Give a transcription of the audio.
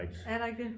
Er der ikke det